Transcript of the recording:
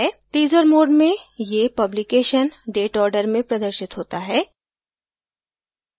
teaser mode में ये publication date order में प्रदर्शित होता है